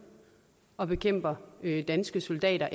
og bekæmper danske soldater og